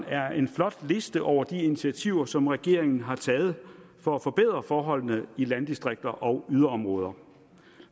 er en flot liste over de initiativer som regeringen har taget for at forbedre forholdene i landdistrikter og yderområder